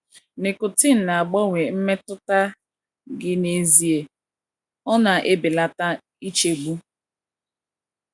Nicotine na -agbanwe mmetụta gị n’ezie; ọ na - ebelata nchegbu.